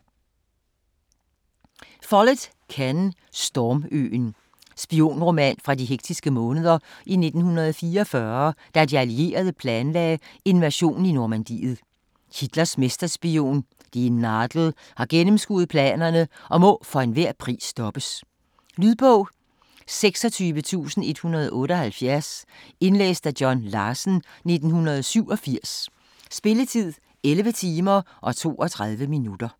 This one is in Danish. Follett, Ken: Storm-øen Spionroman fra de hektiske måneder i 1944, da de allierede planlagde invasionen i Normandiet. Hitlers mesterspion "die Nadel" har gennemskuet planerne og må for enhver pris stoppes. Lydbog 26178 Indlæst af John Larsen, 1987. Spilletid: 11 timer, 32 minutter.